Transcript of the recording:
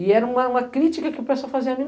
E era uma crítica que o pessoal fazia...